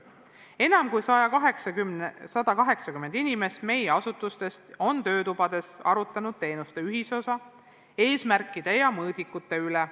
Enam kui 180 inimest meie asutustest on töötubades arutlenud teenuste ühisosa, eesmärkide ja mõõdikute üle.